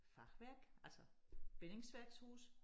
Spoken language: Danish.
Fachwerk altså bindingsværkshuse